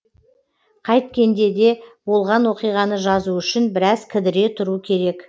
қайткенде де болған оқиғаны жазу үшін біраз кідіре тұру керек